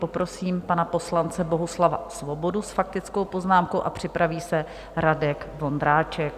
Poprosím pana poslance Bohuslava Svobodu s faktickou poznámkou, a připraví se Radek Vondráček.